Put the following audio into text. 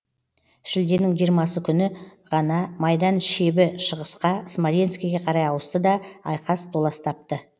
шілденің жиырмасы күні ғана майдан шебі шығысқа смоленскіге қарай ауысты да айқас толас тапты